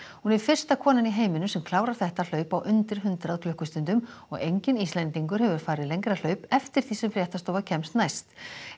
hún er fyrsta konan í heiminum sem klárar þetta hlaup á undir hundrað klukkustundum og enginn Íslendingur hefur farið lengra hlaup eftir því sem fréttastofa kemst næst